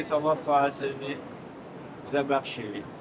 Bu torpaq sahəsini bizə bəxş eləyib.